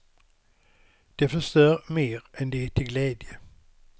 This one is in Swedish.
De förstör mer än de är till glädje.